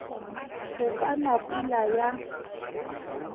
go ka na pula ya